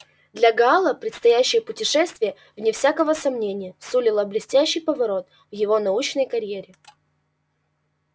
для гаала предстоящее путешествие вне всякого сомнения сулило блестящий поворот в его научной карьере